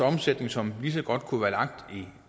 omsætning som lige så godt kunne være lagt i